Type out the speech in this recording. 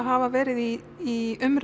hafa verið í